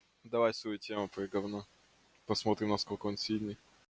давай свою тему твоё говно посмотрим насколько он сильный